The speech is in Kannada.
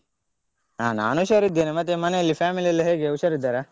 ಹ ನಾನು ಹುಷಾರಿದ್ದೇನೆ ಮತ್ತೆ ಮನೆಯಲ್ಲಿ family ಎಲ್ಲ ಹೇಗೆ ಹುಷಾರಿದ್ದಾರ?